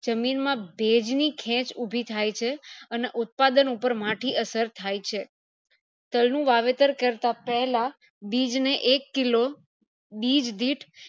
જમીન માં ભેજ ની ખેચ ઉભી થાય છે અને ઉત્પાદન ઉપર માઠી અસર થાય છે તલ નું વાવેતર કરતા પહેલા બીજ ને એક kilo બીજ દિઠ